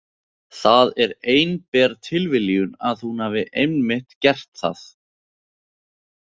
Það er einber tilviljun að hún hafi einmitt gert það.